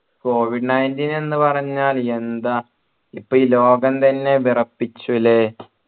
covid nineteen എന്ന് പറഞ്ഞാൽ എന്താ ഇപ്പൊ ഈ ലോകം തന്നെ വിറപ്പിച്ചു അല്ലെ